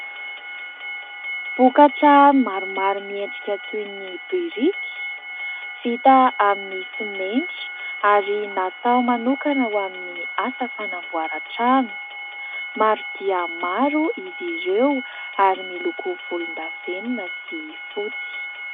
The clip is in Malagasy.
Vokatra maromaro miendrika toy ny biriky, vita amin'ny simenitra ary natao manokana ho amin'ny asa fanamboaran-trano. Maro dia maro izy ireo ary miloko volondavenona sy fotsy.